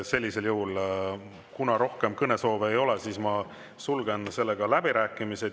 Sellisel juhul, kuna rohkem kõnesoove ei ole, ma sulgen läbirääkimised.